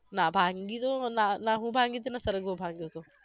ના ભાંગી તો ના ના હું ભાંગી ન તો સરગવો ભાંગ્યો હતો